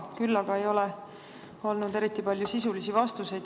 Küll aga ei ole olnud eriti palju sisulisi vastuseid.